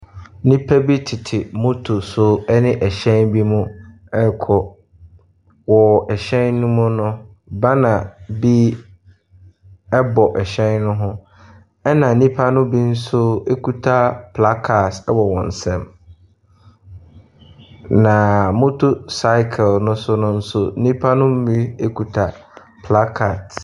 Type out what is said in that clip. Nnipa bi tete motto so ne hyɛn bi ɛrekɔ, wɔ hyɛn no mu no, banner bi bɔ hyɛn ne mu. Na nnipa ne bi nso kita placards wɔ wɔn nsa mu. Na motto cycle ne so no nso, nnipa ne kita placards.